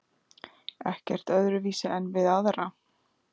Ekkert öðruvísi en við aðra.